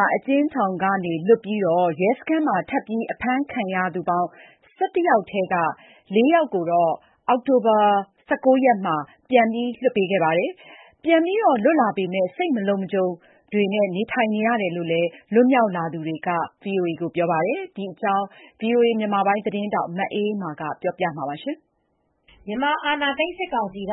ာအကျဉ်းထောင်က လွတ်ပြီး ရဲစခန်းမှာ ထပ်မံအဖမ်းခံရသူ ၁၁ ယောက်ထဲက ၄ ယောက်ကိုတော့ အောက်တိုဘာလ ၁၉ ရက်နေ့မှာ ပြန်လွှတ်ပေးခဲ့ပါတယ်။ ပြန်လွတ်လာပေမယ့် စိတ်မလုံခြုံမူတွေနဲ့ နေထိုင်နေရတယ်လို့ ပြန်လွတ်မြောက်လာသူတွေက ဆိုပါတယ်။ ဒီသတင်းကို ဗွီအိုအေ သတင်းထောက် မအေးအေးမာက ပြောပြထားပါတယ်။ မြန်မာအာဏာသိမ်း စစ်ကောင်စီက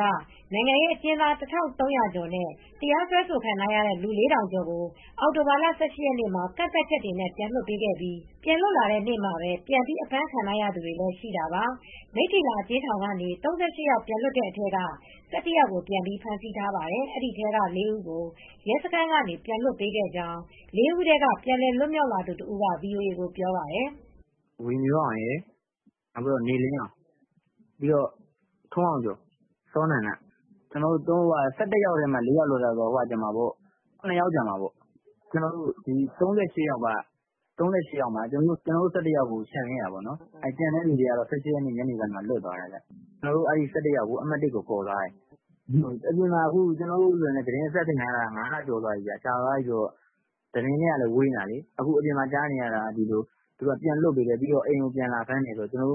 နိုင်ငံရေးအကျဉ်းသား ၁,၃၀၀ ကျော်နဲ့ တရားစွဲဆိုခံထားရတဲ့ လူ ၄,၀၀၀ ကျော်ကို အောက်တိုဘာလ ၁၈ ရက်နေ့မှာ ကန့်သတ်ချက်တွေနဲ့ ပြန်လွတ်ပေးခဲ့ပြီး ပြန်လွတ်လာတဲ့နေ့မှာပဲ ပြန်ပြီး အဖမ်းခံထားရသူတွေ လည်းရှိတာပါ။ မိထ္ထီလာ အကျဉ်းထောင်ကနေ ၃၈ ယောက် ပြန်လွှတ်တဲ့အထဲက ၁၁ ယောက်ကို ပြန်ပြီးဖမ်းဆီးထားပါတယ်။ ဒီထဲက ၄ ဦးကို ရဲစခန်းကနေ ပြန်လွှတ်ပေးခဲ့ကြောင်း ၄ ဦးထဲက ပြန်လည် လွတ်မြောက်လာသူတဦးက VOA ကို ပြောပြပါတယ်။ "ဝေမျိုးအောင်ရယ် နေလင်းအောင် ထွန်းအောင်ကျော် စောနန္ဒ ကျနော်တို့ ၁၁ ယောက်ထဲမှာ ၄ ယောက်။ ကျန်တာက ၇ ယောက် ကျန်သေးတာပေါ့။ ၃၈ ယောက်ထဲမှာ ကျနော်တို့ ၁၁ ယောက်ပဲ ချန်ခဲ့တာပေါ့။ ကျန်တဲ့သူတွေကတော့ ၁၈ ရက်နေ့ထဲကလွတ်သွားပြီ။ ကျနော်တို့ ၁၁ ယောက်ကို အမှတ်(၁) ရဲစခန်းထဲ ခေါ်သွားတာပေါ့။ ကျနော်တို့လည်း သတင်းအဆက်သွယ်ပြတ်တာ ၅ လကျော်သွားပြီ သတင်းနဲ့ဝေးနေတာ။ အခုက အပြင်မှာကြားနေရတာက ပြန်လွှတ်ပေးတယ် အိမ်ကိုလာပြန်ဖမ်းတယ်ဆိုလို့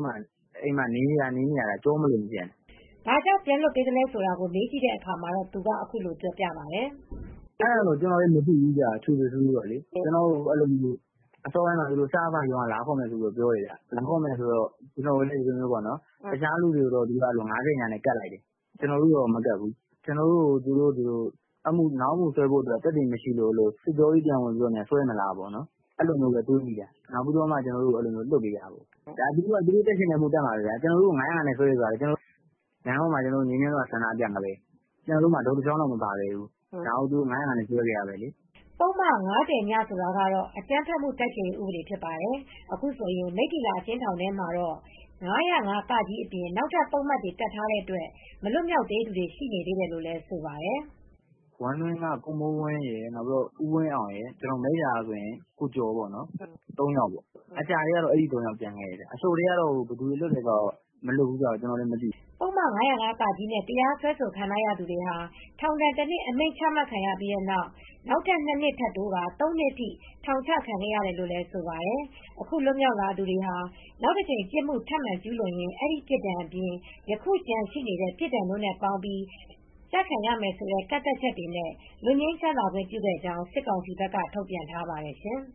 အိမ်မှာသာနေနေရတာ နေရတာ ကျောမလုံဘူးဗျ။" ဘာကြောင့် ပြန်လွတ်ပေးသလဲဆိုတာကို မေးကြည့်တဲ့အခါမှာ သူက အခုလိုပြောပြပါတယ်။ "အဲဒါတွေလည်း ကျနော်တို့က ထွေထွေထူးထူး မသိဘူးဗျ။ ကျနော်တို့ကို အစောပိုင်းမှာ စအဖ(စစ်ဖက်ရေးရာလုံခြုံရေးတပ်ဖွဲ့)က လာခေါ်မယ်လို့ပြောတယ်။ တခြားသူတွေကိုတော့ ၅၀(ည)နဲ့ကပ်လိုက်တယ်ဗျ။ ကျနော်တို့ကိုတော့ မကပ်ဘူး ကျနော်တို့ကိုနောက်အမှုစွဲဖို့အတွက် သက်သေမရှိလို့များ စစ်ကြောရေးကို ပြန်ခေါ်မလားဆိုပြီး အဲဒီလိုတွေးလိုက်မိတယ်။ နောက်မှ အဲဒီလို ပြန်လွှတ်ပေးလိုက်တာပဲ။ သူတို့က တပ်ချင်တဲ့အမှု တပ်တာပဲ။ လမ်းပေါ်မှာ ငြိမ်းချမ်းစွာ ဆန္ဒပြတာပဲလေ။ တုတ်တချောင်းတောင် မပါဘူး၊ အဲဒါကို ၅၀၅ နဲ့ စွဲခဲ့တာပဲလေ။ သူတို့ကတော့ သူတို့တပ်ချင်တဲ့ပုဒ်မ တပ်တာပဲ။" ပုဒ်မ ၅၀(ည)ဆိုတာကတော့ အကြမ်းဖက်မှု တိုက်ဖျက်ရေးဥပဒေဖြစ်ပါတယ် ။ အခုဆိုရင် မိထ္ထီလာ အကျဉ်းထောင်ထဲမှာတော့ ၅၀၅(က)အပြင် နောက်ထပ် ပုဒ်မတွေ တပ်ထားတဲ့အတွက် မလွတ်သေးသူတွေ ရှိနေသေးတယ်လို့ိဆိုပါတယ်။ " ဝမ်းတွင်းက ကိုမိုးဝင်းရယ်၊ နောက်ပြီးတော့ ဦးဝင်းအောင်ရယ် မိထ္ထီလာက ကိုကျော်တို့ ကျန်ခဲ့တယ်။ ထောင်ကျထဲက အဲဒီ ၃ ယောက် ကျန်ခဲ့တယ်။ အချုပ်ထဲက ဘယ်သူလွတ်သလဲ မလွတ်ဘူးလည်းဆိုတာ မသိဘူး။" ပုဒ်မ ၅၀၅(က) နဲ့ တရားစွဲဆိုခံရသူတွေဟာ ထောင်ဒဏ် ၁နှစ် အမိန်ချခံရပြီးနောက်၊ နောက်ထပ် ၂ နှစ် ထပ်တိုးကာ ၃ နှစ်ထိ ထောင်ချ ခံခဲ့ရတယ်လို့ဆိုပါတယ်။ အခု လွတ်မြောက်လာသူတွေဟာ နောက်တကြိမ် ပြစ်မှု ထပ်မံကျူးလွန်ရင် အဲဒီပြစ်ဒဏ်အပြင် ယခုကျန်ရှိတဲ့ ပြစ်ဒဏ်တို့နဲ့ပေါင်းပြီး ကျခံရမယ်ဆိုတဲ့ ကန့်သတ်ချက်နဲ့ လွတ်ငြိမ်းချမ်းသာခွင့်ပြုခဲ့ကြောင်း၊ စစ်ကောင်စီဘက်က ထုတ်ပြန်ထားပါတယ် ရှင်။